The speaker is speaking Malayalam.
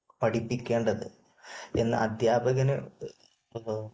പഠിപ്പിക്കേണ്ടത് എന്നാ അദ്ധ്യാപകന്